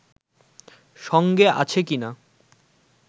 সঙ্গে আছে কিনা